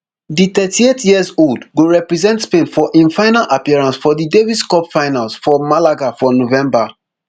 di thirty-eightyearold go represent spain for im final appearance for di davis cup finals for malaga for november